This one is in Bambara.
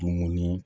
Dumuni